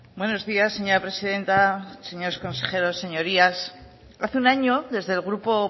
buenos días señora presidenta señores consejeros señorías hace un año desde el grupo